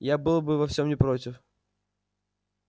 я был бы совсем не против